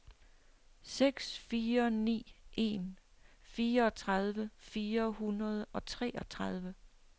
seks fire ni en fireogtredive fire hundrede og treogtredive